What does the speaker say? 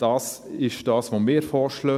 Dies ist unser Vorschlag.